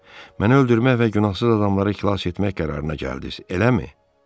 Məni öldürmək və günahsız adamları xilas etmək qərarına gəldiniz, eləmi?